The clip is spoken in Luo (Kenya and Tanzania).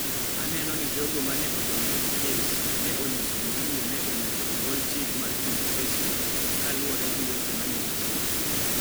Aneno ni jogo ma ne odonjo e kes ne onyiso gimomiyo ne onego ogol chik mar chungo kesno kaluwore gi weche ma ne gichiwo.